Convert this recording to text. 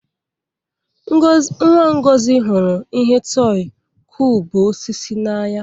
Nwa Ngozi hụrụ ihe tọị kụubụ osisi n'anya.